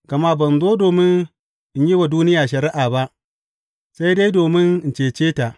Gama ban zo domin in yi wa duniya shari’a ba, sai dai domin in cece ta.